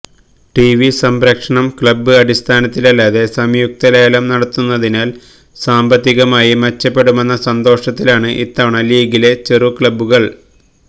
TV സംപ്രേഷണം club അടിസ്ഥാനത്തിലല്ലാതെ സംയുക്തലേലം നടത്തുന്നതിനാൽ സാമ്പത്തികമായി മെച്ചപ്പെടുമെന്ന സന്തോഷത്തിലാണ് ഇത്തവണ ലീഗിലെ ചെറുക്ലബുകൾ